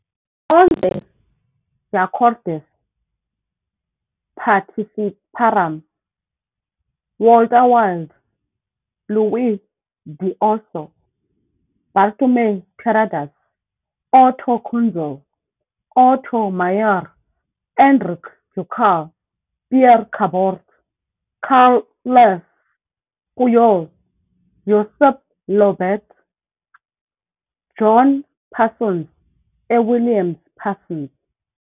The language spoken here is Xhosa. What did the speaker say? Onze jogadores participaram- Walter Wild, Lluis d'Osso, Bartomeu Terradas, Otto Kunzle, Otto Maier, Enric Ducal, Pere Cabot, Carles Puyol, Josep Llobet, John Parsons e William Parsons.